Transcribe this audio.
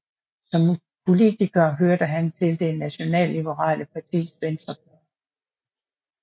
Som politiker hørte han til det nationalliberale partis venstre fløj